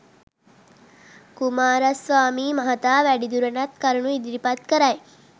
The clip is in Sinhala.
කුමාරස්වාමී මහතා වැඩිදුරටත් කරුණු ඉදිරිපත් කරයි